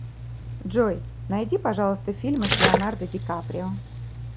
джой найди пожалуйста фильмы с леонардо дикаприо